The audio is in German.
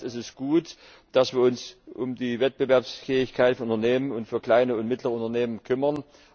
Einerseits ist es gut, dass wir uns um die Wettbewerbsfähigkeit von Unternehmen und von kleinen und mittleren Unternehmen kümmern.